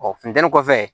Ɔ funteni kɔfɛ